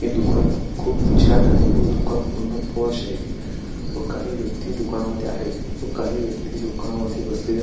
हे दुकान खूप छान आहे व दुकान पुन्हा पोश आहे व काही व्यक्ती दुकाना मध्ये आहेत व काही व्यक्ती दुकाना मध्ये बसलेल्या--